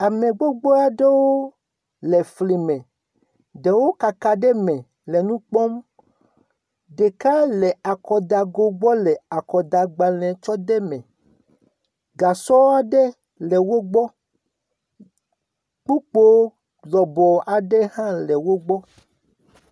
Ame gbogbo aɖewo le fli me, ɖewo kaka ɖe eme me le nu kpɔm, ɖeka le akɔdago gbɔ le akɔdagbalẽ tsɔ de me, gasɔ aɖe le wo gbɔ, kpokpo aɖe hã le wo gbɔ.